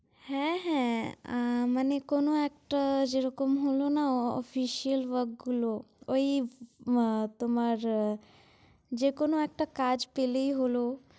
হ্যাঁ হ্যাঁ অ্যা~ মানে কোনো একটা যেরকম হলো না official work গুলো, ঐ মা~ তোমার যেকোনো একটা কাজ পেলেই হলো।